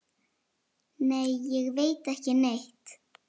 Nei, ég veit ekki neitt.